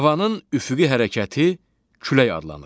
Havanın üfüqi hərəkəti külək adlanır.